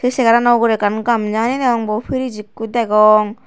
se segarano ugure ekkan gamja hani degong bo frige ekko degong.